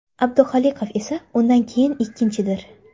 Abduxoliqov esa undan keyin ikkinchidir.